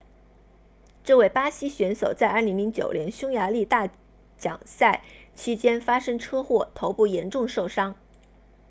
这位巴西选手在2009年匈牙利大奖赛期间发生车祸头部严重受伤